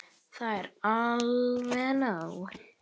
Það er alveg nóg.